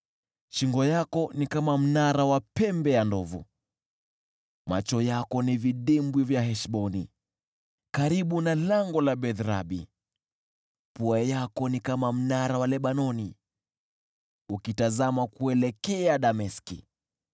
Shingo yako ni kama mnara wa pembe ya ndovu. Macho yako ni vidimbwi vya Heshboni karibu na lango la Beth-Rabi. Pua lako ni kama mnara wa Lebanoni ukitazama kuelekea Dameski.